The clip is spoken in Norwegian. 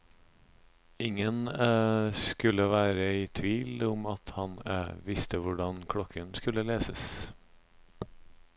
Ingen skulle være i tvil om at han visste hvordan klokken skulle leses.